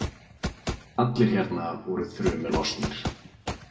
Allir hérna voru þrumu lostnir.